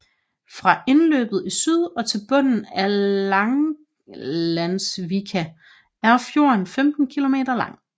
Fra indløbet i syd og til bunden af Langalandsvika er fjorden 15 kilometer lang